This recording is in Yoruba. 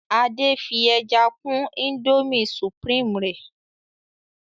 Ade fí ẹja kún Indomie supreme rẹ